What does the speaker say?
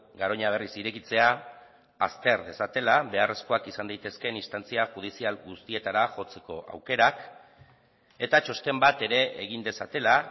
garoña berriz irekitzea azter dezatela beharrezkoak izan daitezkeen instantzia judizial guztietara jotzeko aukerak eta txosten bat ere egin dezatela